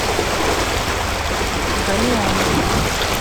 галион